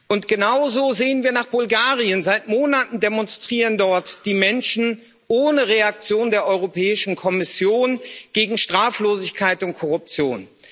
Und genauso sehen wir nach Bulgarien Seit Monaten demonstrieren dort die Menschen ohne Reaktion der Europäischen Kommission gegen Straflosigkeit und Korruption.